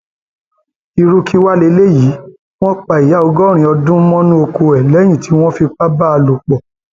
irú kí wàá lélẹyìí wọn pa ìyá ọgọrin ọdún mọnú ọkọ lẹyìn tí wọn fipá bá a lò pọ